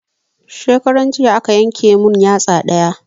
Shekaran jiya aka yanke mun yatsa ɗaya